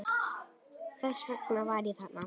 Þess vegna var ég þarna.